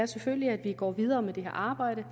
selvfølgelig at vi går videre med det her arbejde